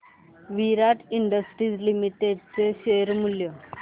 विराट industries limited चे share मूल्य